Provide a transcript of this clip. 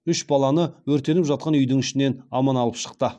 үш баланы өртеніп жатқан үйдің ішінен аман алып шықты